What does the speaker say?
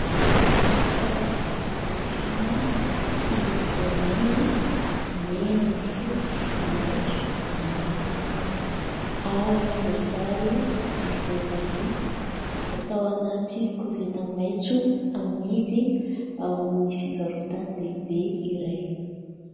Karazana legioma sy voamaina mena, fotsy, maitso, mavo ary voasary sy voatabia atao anaty koveta maitso amidy ao amin'ny fivarotan-dehibe iray.